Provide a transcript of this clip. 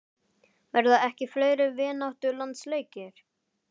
Verða ekki fleiri vináttulandsleikir?